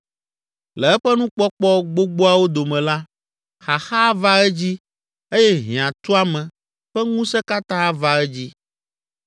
Le eƒe nukpɔkpɔ gbogboawo dome la, xaxa ava edzi eye hiãtuame ƒe ŋusẽ katã ava edzi.